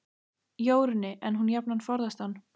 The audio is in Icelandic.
Jórunni, en hún jafnan forðast hann.